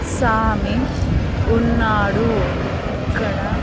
సామి ఉన్నాడు ఇక్కడ.